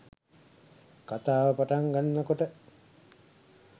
කතාව පටන් ගන්නකොට